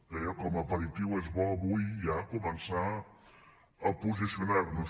deia que com a aperitiu és bo avui ja començar a posicionar nos